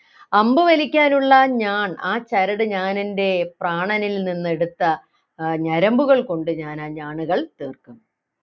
അമ്പു വലിക്കാനുള്ള ഞാൺ ആ ചരട് ഞാനെൻ്റെ പ്രാണനിൽ നിന്ന് എടുത്ത ഏർ ഞരമ്പുകൾ കൊണ്ട് ഞാൻ ആ ഞാണുകൾ തീർക്കും